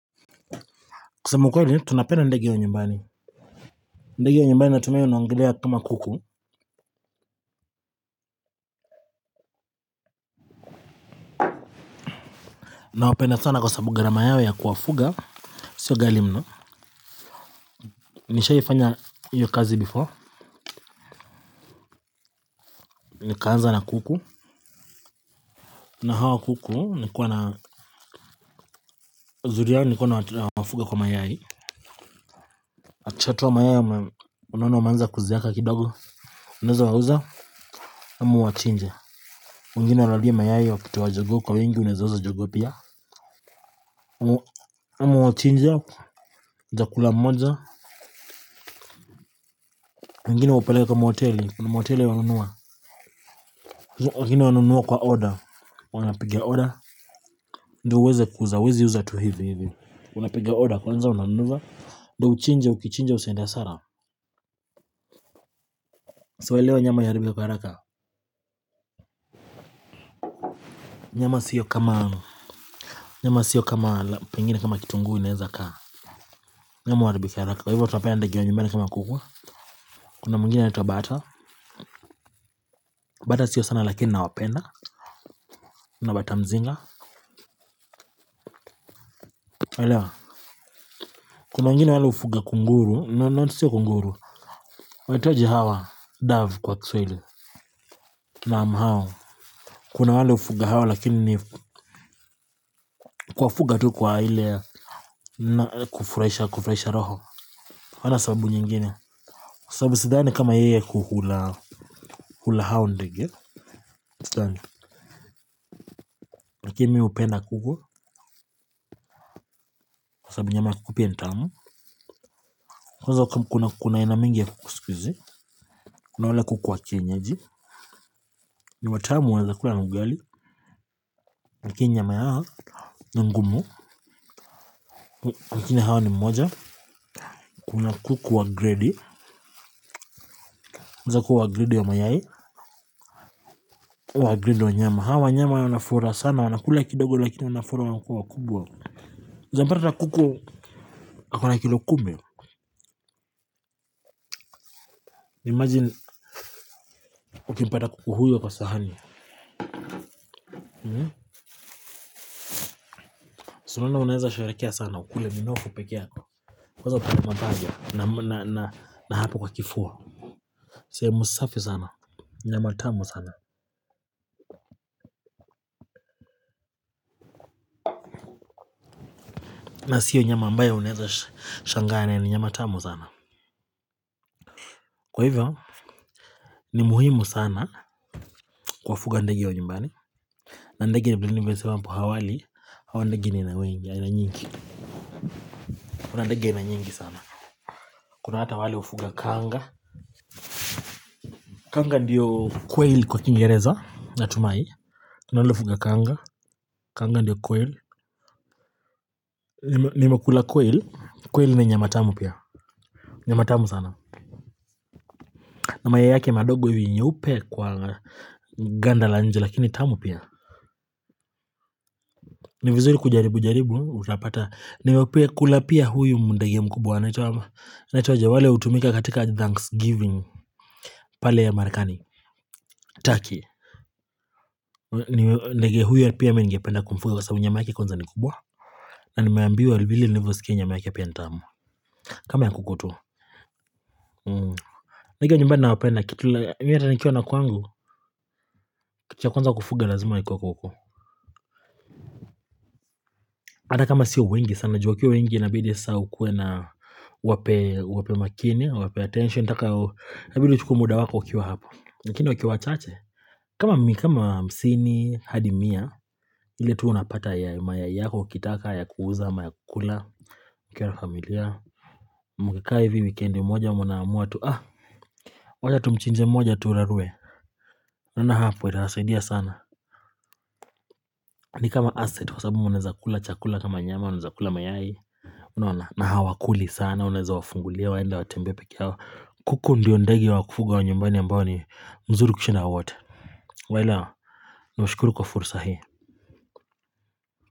Kusema ukweli tunapenda ndege wa nyumbani, ndege wa nyumbani natumia naongelea kama kuku. Nawapenda sana kwa sababu gharama yao ya kuwafuga sio ghali mno. Nishaifanya hiyo kazi before. Nikaanza na kuku, na hawa kuku nikuwa na Zuri yao nilikuwa nawafuga kwa mayai. Akishatoa mayai unaona wameanza kuzeeka kidogo, unaweza wauza ama uwachinje. Mwingine hulalia mayai wa kutoa jogoo kwa wingi unaweza uza jogoo pia. Ama uwachinje, utakula mmoja. Mwngine uwapelewa kwa mahoteli, kwa mahoteli wananunua. Wengine wanunua kwa order, wanapiga order. Ndo uweze kuuza, huwezi uza tu hivi hivi. Unapiga order kwanza unanunua, ndo uchinje, ukichinja, usiende hasara. So elewa nyama iharibike kwa haraka. Nyama sio kama, nyama sio kama pengine kama kitunguu inaweza kaa. Nyama huharibika haraka, kwa hivyo watu wanapenda ndege wa nyumbani kama kuku, kuna mwingine anaitwa bata. Bata sio sana lakini nawapenda, kuna bata mzinga. Kuna wengine wale hufuga kunguru, no no sio kunguru, weanaitwaje hawa, dove kwa kiswahili, naam hao kuna wale hufuga hawa lakini kuwafuga tu kwa ile na kufurahisha kufurahisha roho. Hawana sababu nyingine, sababu sidhani kama yeye hukula, hula hao ndege. Sidhani. Lakini mi hupenda kuku sababu nyama yaya kuku pia ni tamu kuna kuna aina mingi ya kuku siku hizi. Kuna wale kuku wa kienyeji, ni watamu unaweza kula na ugali, lakini nyama yao ni ngumu, lakini hawa ni mmoja. Kuna kuku wa grade weza kuwa wa grade ya mayai, wa grade wa nyama. Hawa nyama ya wanafura sana wanakula kidogo lakini wanafura wanakuwa wakubwa. Unaweza pata kuku ako na kilo kumi. Imagine, ukimpata kuku huyo kwa sahani. Si unaona unaweza sherekea sana ukule minofu peke yako. Kwaza upande wa mapajana na na na hapo kwa kifua, sehemu safi sana, nyama tamu sana. Na sio nyama ambayo unaweza shangaa, ni nyama tamu sana. Kwa hivyo ni muhimu sana kuwafuga ndege wa nyumbani, na ndege nimesema hapo awali hawa ndege nina wengi. Kuna ndege aina nyingi sana. Kuna hata wale hufuga kanga. Kanga ndiyo quail kwa kiingereza, natumai. Kanga ndiyo quail. Nimekula quail, quail ni nyama tamu pia. Nyama tamu sana. Na mayai yake madogo nyeupe kwa ganda la nje lakini tamu pia. Ni vizuri kujaribu jaribu unapata nimekula pia huyu ndege ya mkubwa anaitwa, wale hutumika katika thanksgiving. Pale Amerikani, turkey. Ndege huyo pia mi ningependa kumfuga kwa sababu nyama yake kwanza ni kubwa. Na nimeambiwa vile nilivyosikia nyama yake pia ni tamu. Kama ya kuku tu. Ndege nyumbani nawapenda kitu la hata nikiwa na kwangu, kitu cha kwanza kufuga lazima ikuwe kuku. Hata kama sio wengi sana juu wakiwa wengi inabidi sasa ukuwe na, uwape uwape makini, uwape attention inataka, itabidi uchukue muda wako wakiwa hapo. Lakini wakiwa wachache kama hamsini hadi mia, ile tu unapata ya mayai yako ukitaka ya kuuza ama ya kukula, mkikaa na familia, mkikaa hivi wikendi moja mnaamua tu ah, wacha tumchinje mmoja turarue, unaona hapo itasaidia sana. Ni kama asset wa sababu mnaweza kula chakula kama nyama, unaweza kula mayai, unaona, na hawakuli sana, unaweza wafungulia waenda watembee peke yao. Kuku ndiyo ndegi wa kufuga wa nyumbani ambao ni mzuru kushinda wote, unaelewa? Ninashukuru kwa fursa hii.